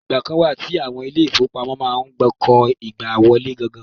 Ìgbà kan wà tí àwọn ile-ìfowópamọ́ máa ń kó igbá wọlé gan-an.